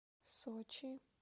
сочи